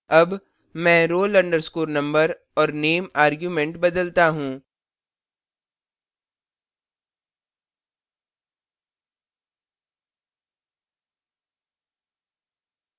अब मैं roll _ number और name arguments बदलता हूँ